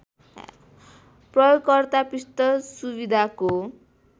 प्रयोगकर्ता पृष्ठ सुविधाको